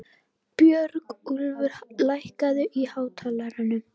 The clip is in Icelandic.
Björgúlfur, lækkaðu í hátalaranum.